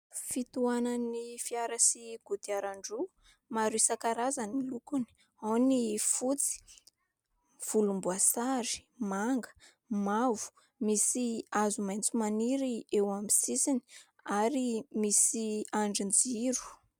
Fitohanan'ny fiara sy kodiarandroa maro isan-karazany ny lokony : ao ny fotsy, volomboasary, manga, mavo. Misy hazo maitso maniry eo amin'ny sisiny ary misy andrin-jiro.